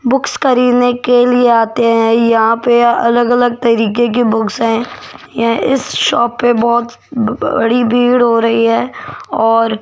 books खरीदने के लिए आते हैं यहां पे अलग-अलग तरीके के बुक्स है इस शॉप पे बहुत बड़ी भीड़ हो रही है और --